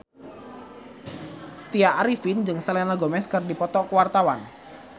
Tya Arifin jeung Selena Gomez keur dipoto ku wartawan